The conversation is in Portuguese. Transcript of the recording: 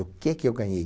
O que que eu ganhei?